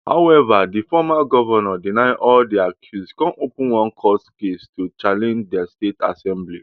however di former govnor deny all di accuse come open one court case to challenge di state assembly